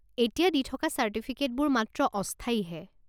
এতিয়া দি থকা চাৰ্টিফিকেটবোৰ মাত্ৰ অস্থায়ীহে।